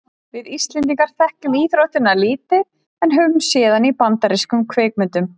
við íslendingar þekkjum íþróttina lítið en höfum séð hana í bandarískum kvikmyndum